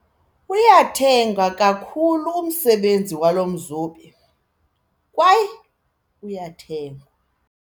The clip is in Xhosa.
Uyathengwa kakhulu umsebenzi walo mzobi kwaye uyathengwa.